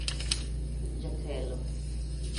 Jatelo.